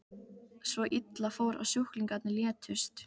Svo illa fór að sjúklingarnir létust.